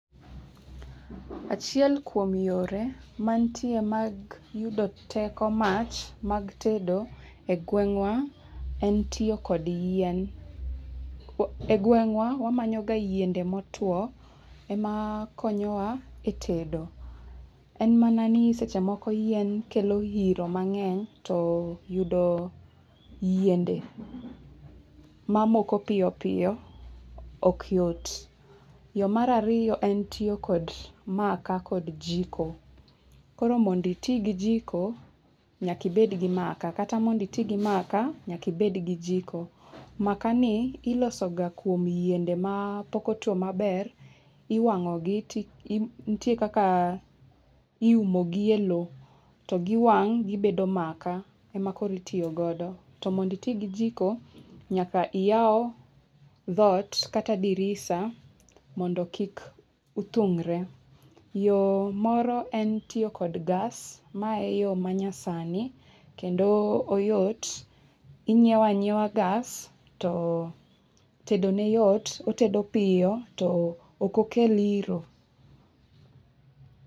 Achiel kuom yore mantie mag yudo teko mach mag tedo egweng'wa en tiyo kod yien. Egweng'wa wamanyoga yiende motwo ema konyowa e tedo. En mana ni seche moko yien kelo iro mang'eny, to yudo yiende mamoko piyo piyo ok yot. Yo mar ariyo en tiyo kod maka kod jiko. Koro mondo iti gi jiko nyaka ibed gi maka kata mondo iti gi maka nyaka ibed gi jiko. Makani ilosoga kuom yiende mapok otuo maber. Iwang'ogi to nitie kaka iumogi e lowo. To giwang' gibedo maka, ema koro itiyo godo. To mondo iti gi jiko, nyaka iyaw dhoot kata dirisa mondo kik uthung're. Yo moro en tiyo kod gas, ma eyo manyasani kendo oyot. Inyiewo anyiewa gas to tedone yot, otedo piyo to ok okel iro.